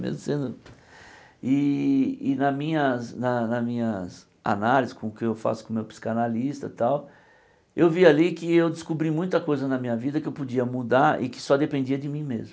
Mesmo sendo... E e na minhas na na minhas análises, com o que eu faço com o meu psicanalista tal, eu vi ali que eu descobri muita coisa na minha vida que eu podia mudar e que só dependia de mim mesmo.